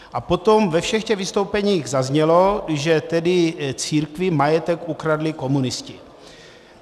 A potom ve všech těch vystoupeních zaznělo, že tedy církvi majetek ukradli komunisti.